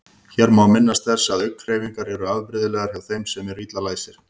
Hér má minnast þess að augnhreyfingar eru afbrigðilegar hjá þeim sem eru illa læsir.